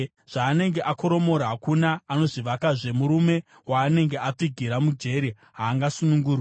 Zvaanenge akoromora hakuna anozvivakazve; murume waanenge apfigira mujeri haangasunungurwi.